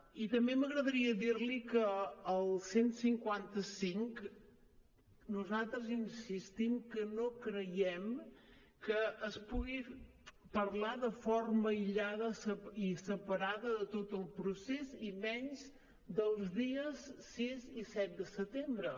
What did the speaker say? i també m’agradaria dir li que el cent i cinquanta cinc nosaltres insistim que no creiem que es pugui parlar de forma aïllada i separada de tot el procés i menys dels dies sis i set de setembre